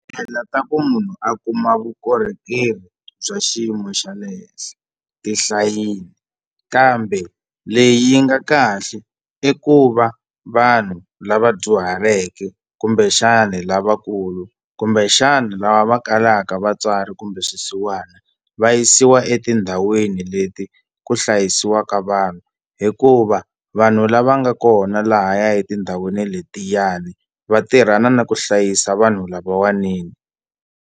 Tindlela ta ku munhu a kuma vukorhokeri bya xiyimo xa le henhla ti hlayini kambe leyi nga kahle i ku va vanhu lava dyuhaleke kumbexani lavakulu kumbexani lava va kalaka vatswari kumbe swisiwana va yisiwa etindhawini leti ku hlayisiwaka vanhu hikuva vanhu lava nga kona lahaya etindhawini letiyani va tirhana na ku hlayisa vanhu lavawani ni.